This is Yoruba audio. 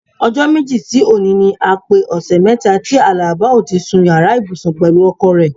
O̩jó̩ méjì sí òní ni a pé ò̩sè̩ mé̩ta tí Àlàbá o ti sun yàrá ìbùsùn pè̩lú o̩ko̩ rè̩.